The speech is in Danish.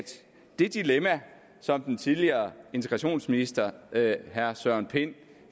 det dilemma som den tidligere integrationsminister herre søren pind